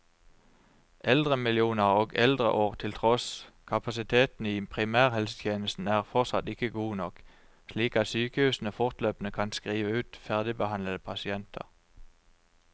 Eldremillioner og eldreår til tross, kapasiteten i primærhelsetjenesten er fortsatt ikke god nok, slik at sykehusene fortløpende kan skrive ut ferdigbehandlede pasienter.